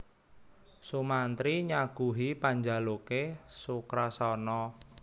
Sumantri nyaguhi panjaluke Sukrasana